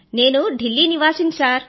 నేను ఢిల్లీ నివాసిని సర్